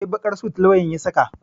Eh, baƙar sut lauyan ya saka.